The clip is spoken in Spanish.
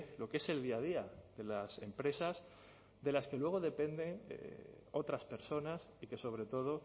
lo que es el día a día de las empresas de las que luego dependen otras personas y que sobre todo